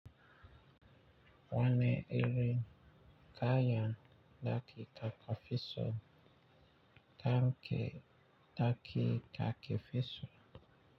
Wane iri kayan ɗaki kakefiso take ɗaki kakefiso?